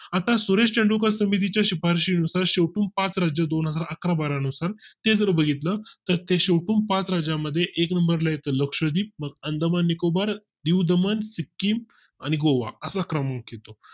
आता सुरेश तेंडुलकर समिती च्या शिफारशी नुसार शेवटून पाच राज्य दोनहजार अकरा बारा नुसार हे जर बघितलं तर ते शेवटून पाच राज्यां मध्ये एक NUMBER ला येतो लक्षद्वीप अंदमान, निकोबार दीव दमण, सिक्किम आणि गोवा असा क्रमांक येतो